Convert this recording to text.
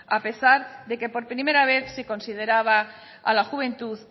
a pesar de que por primera vez se consideraba a la juventud